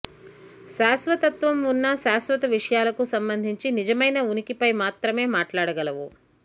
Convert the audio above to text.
శాశ్వతత్వం ఉన్న శాశ్వత విషయాలకు సంబంధించి నిజమైన ఉనికిపై మాత్రమే మాట్లాడగలవు